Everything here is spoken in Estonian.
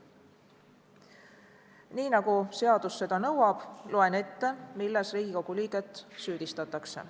Nii nagu seadus seda nõuab, loen ette, milles Riigikogu liiget süüdistatakse.